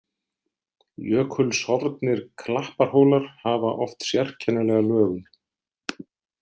Jökulsorfnir klapparhólar hafa oft sérkennilega lögun.